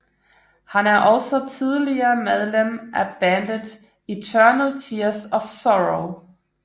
Han er også tidligere medlem af bandet Eternal Tears of Sorrow